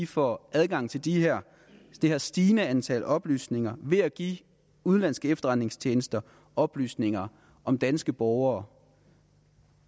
får adgang til det her det her stigende antal oplysninger ved at give udenlandske efterretningstjenester oplysninger om danske borgere